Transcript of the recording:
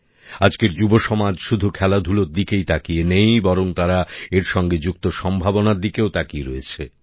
আজকের যুব সমাজ শুধু খেলাধুলার দিকেই তাকিয়ে নেই বরং তারা এর সঙ্গে যুক্ত সম্ভাবনার দিকেও তাকিয়ে রয়েছে